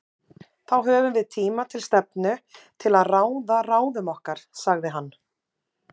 Þá höfum við tíma til stefnu til að ráða ráðum okkar, sagði hann.